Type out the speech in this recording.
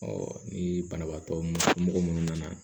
ni banabaatɔ mɔgɔ minnu nana